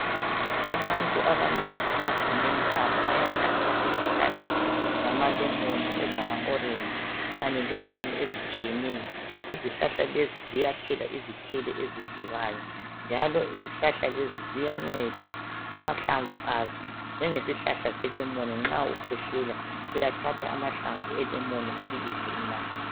Abantu abanengi emagumeni abo bayahlanyela izihlahla zamalemon, ezamaorange kanye lezinye ezitshiyeneyo. Izihlahla lezi ziyathela izithelo ezidlilwayo njalo izihlahla lezi ziyanceda amahlamvu azo njengesihlahla selemon nxa ukhwehlela uyathatha amahlamvu elemoni ubilise unathe.